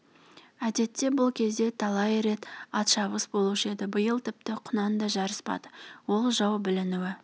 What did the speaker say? әдетте бұл кезде талай рет атшабыс болушы еді биыл тіпті құнан да жарыспады ол жау білінуі